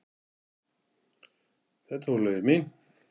Þetta voru lögin mín.